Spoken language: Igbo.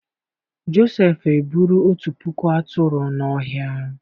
Josefu eburu otu puku aturu n'ọhia.